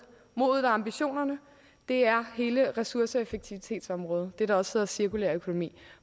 modet og ambitionerne er hele ressourceeffektivitetsområdet det der også hedder cirkulær økonomi